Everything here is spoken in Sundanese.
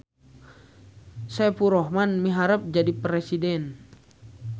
Saepulrohman miharep jadi presiden